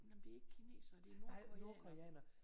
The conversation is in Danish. Nej men det er ikke kinesere det er nordkoreanere